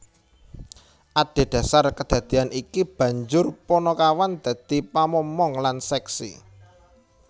Adhedasar kadadeyan iki banjur panakawan dadi pamomong lan seksi